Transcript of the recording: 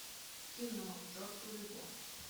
кино к черту любовь